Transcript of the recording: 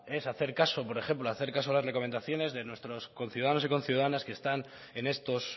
es hacer caso por ejemplo hacer caso a las recomendaciones de nuestros conciudadanos y conciudadanas que están en estos